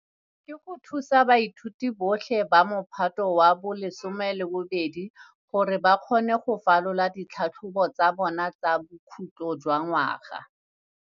ke go thusa baithuti botlhe ba Mophato wa bo 12 gore ba kgone go falola ditlhatlhobo tsa bona tsa bokhutlo jwa ngwaga.